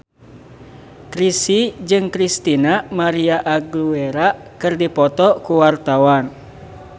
Chrisye jeung Christina María Aguilera keur dipoto ku wartawan